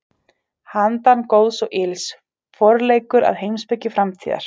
Handan góðs og ills: Forleikur að heimspeki framtíðar.